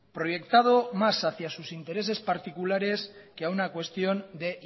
proyectado más hacia sus intereses particulares que a una cuestión de